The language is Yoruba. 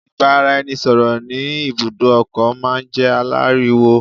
Ìbáraẹnisọ̀rọ̀ ní ibùdó ọkọ̀ máà ń jẹ́ aláriwo.